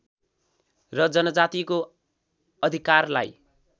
र जनजातिको अधिकारलाई